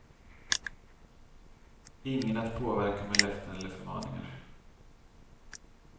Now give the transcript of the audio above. Ingen att påverka med löften eller förmaningar.